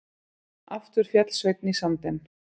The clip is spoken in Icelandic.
Aftur féll Sveinn í sandinn.